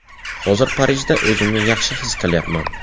Hozir Parijda o‘zimni yaxshi his qilyapman.